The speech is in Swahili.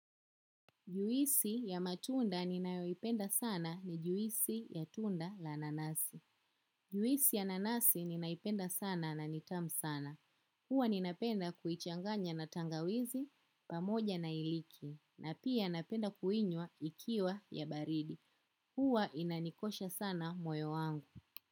Juisi ya matunda ninayoipenda sana ni juisi ya tunda la nanasi. Juisi ya nanasi ni naipenda sana na nitamu sana. Huwa ninapenda kuichanganya na tangawizi pamoja na iliki. Na pia napenda kuinnywa ikiwa ya baridi. Huwa inanikosha sana moyo wangu.